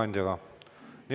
Nii.